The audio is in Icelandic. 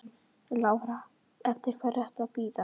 Lára: Eftir hverri ertu að bíða?